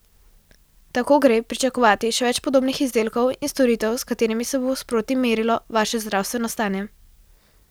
Tako gre pričakovati še več podobnih izdelkov in storitev s katerimi se bo sproti merilo vaše zdravstveno stanje.